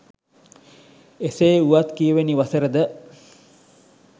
එසේ වුවත් කී වෙනි වසරද